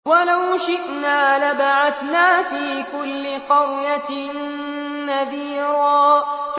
وَلَوْ شِئْنَا لَبَعَثْنَا فِي كُلِّ قَرْيَةٍ نَّذِيرًا